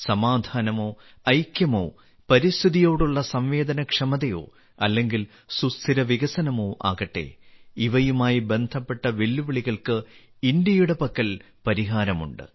സമാധാനമോ ഐക്യമോ പരിസ്ഥിതിയോടുള്ള സംവേദനക്ഷമതയോ അല്ലെങ്കിൽ സുസ്ഥിര വികസനമോ ആകട്ടെ ഇവയുമായി ബന്ധപ്പെട്ട വെല്ലുവിളികൾക്ക് ഇന്ത്യയുടെ പക്കൽ പരിഹാരമുണ്ട്